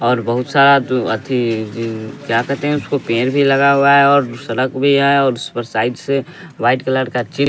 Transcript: और बहुत सारा जो आथी इय क्या कहते हैं उसको पेर भी लगा हुआ है और सड़क भी है और उस पर साइड से वाइट कलर का चि --